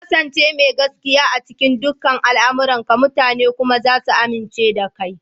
Ka ƙasance mai gaskiya a cikin dukan al'amuranka, mutane kuma za su amince da kai.